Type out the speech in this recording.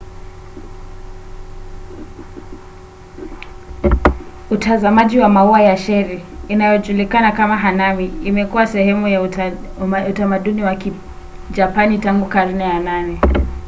utazamaji wa maua ya cheri inayojulikana kama hanami imekuwa sehemu ya utamaduni wa kijapani tangu karne ya 8